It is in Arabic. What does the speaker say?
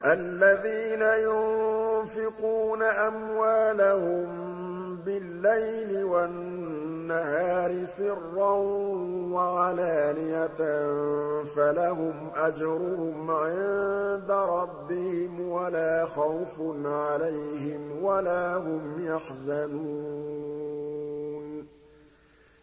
الَّذِينَ يُنفِقُونَ أَمْوَالَهُم بِاللَّيْلِ وَالنَّهَارِ سِرًّا وَعَلَانِيَةً فَلَهُمْ أَجْرُهُمْ عِندَ رَبِّهِمْ وَلَا خَوْفٌ عَلَيْهِمْ وَلَا هُمْ يَحْزَنُونَ